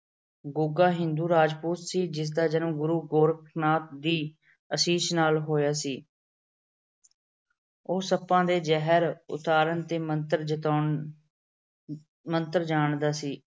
ਗੁੱਗਾ ਹਿੰਦੂ ਰਾਜਪੂਤ ਸੀ ਜਿਸ ਦਾ ਜਨਮ ਗੁਰੂ ਗੋਰਖਨਾਥ ਦੀ ਅਸੀਸ ਨਾਲ ਹੋਇਆ ਸੀ। ਉਹ ਸੱਪਾਂ ਦੇ ਜਹਿਰ ਉਤਾਰਨ ਤੇ ਮੰਤਰ ਜਤਾਉਣ ਅਹ ਮੰਤਰ ਜਾਣਦਾ ਸੀ।